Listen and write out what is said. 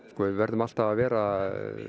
við verðum alltaf að vera